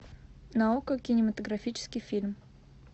на окко кинематографический фильм